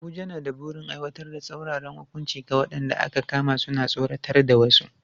Abuja na da burin aiwatar da tsauraran hukunci ga waɗanda aka kama suna tsoratar da wasu.